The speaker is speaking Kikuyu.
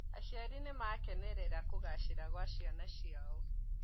Aciari nĩmarakenera kũgacira kwa ciana ciao